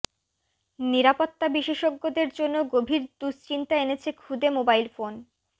নিরাপত্তা বিশেষজ্ঞদের জন্য গভীর দুশ্চিন্তা এনেছে খুদে মোবাইল ফোন